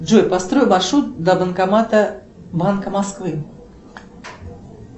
джой построй маршрут до банкомата банка москвы